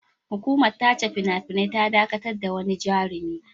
Hukumar tace fina-finai ta dakatar da wani jarumi.